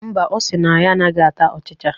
Mba, ọ sịrị na ya anaghị ata ọchịcha